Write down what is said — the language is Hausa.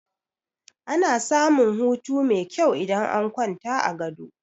Ana samun hutu mai kyau idan an kwanta a gado.